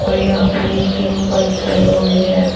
और यहां पे ये तीन बाइक खड़ी हुई है।